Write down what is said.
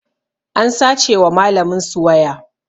An sace wa malamin su waya